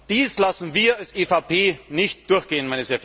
Dies lassen wir als EVP nicht durchgehen!